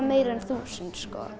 meira en þúsund